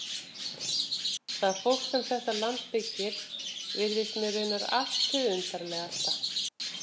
Það fólk sem þetta land byggir virðist mér raunar allt hið undarlegasta.